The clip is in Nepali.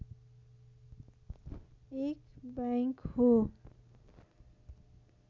एक बैंक हो